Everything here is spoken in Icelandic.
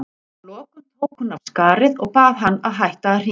Að lokum tók hún af skarið og bað hann að hætta að hringja.